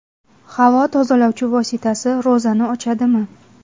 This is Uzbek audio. Havo tozalovchi vosita ro‘zani ochadimi?.